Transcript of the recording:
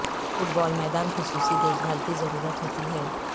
fit بال میدان خصوصی دیکھ بھال کی ضرورت ہوتی ہے